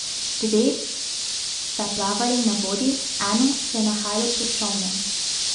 Dve sta plavali na vodi, eno se je nahajalo pod čolnom.